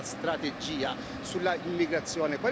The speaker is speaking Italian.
Qual è la strategia sull'immigrazione?